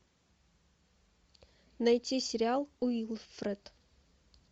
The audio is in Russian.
найти сериал уилфред